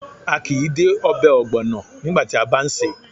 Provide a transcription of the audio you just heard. A kìí dé obè ògbònà nígbàti a bá n sèé